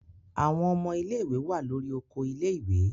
Àwọn ọmọ ilé-ìwé wà lórí oko ilé-ìwé.